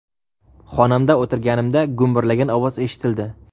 Xonamda o‘tirganimda gumburlagan ovoz eshitildi.